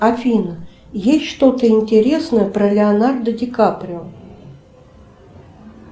афина есть что то интересное про леонардо ди каприо